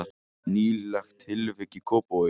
Nýlegt tilvik í Kópavogi